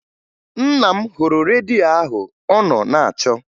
Nna m hụrụ redio ahụ ọ nọ na-achọ